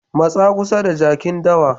Matsa kusa da jakin dawa.